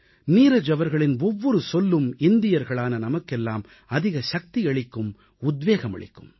நீரஜ் அவர்களின் ஒவ்வொரு சொல்லும் இந்தியர்களான நமக்கெல்லாம் அதிக சக்தி அளிக்கும் உத்வேகம் அளிக்கும்